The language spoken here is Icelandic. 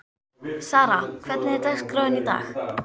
Sara, hvernig er dagskráin í dag?